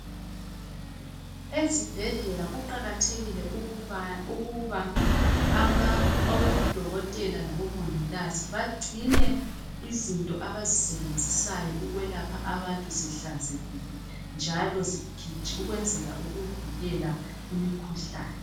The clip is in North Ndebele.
Ezibhedlela kuqakathekile ukuba abodokotela labomongikazi , bagcine izinto abazisebenzisayo ukwelapha abantu zihlanzekile njalo ukwenzela ukuvikela imikhuhlane.